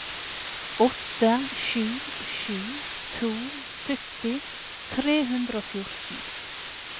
åtte sju sju to sytti tre hundre og fjorten